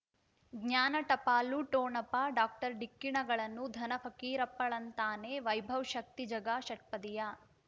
ಜ್ಞಾನ ಟಪಾಲು ಠೊಣಪ ಡಾಕ್ಟರ್ ಢಿಕ್ಕಿ ಣಗಳನು ಧನ ಫಕೀರಪ್ಪ ಳಂತಾನೆ ವೈಭವ್ ಶಕ್ತಿ ಝಗಾ ಷಟ್ಪದಿಯ